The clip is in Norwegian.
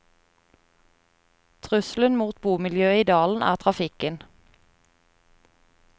Truselen mot bomiljøet i dalen er trafikken.